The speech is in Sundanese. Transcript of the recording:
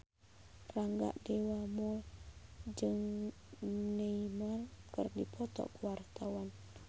Rangga Dewamoela jeung Neymar keur dipoto ku wartawan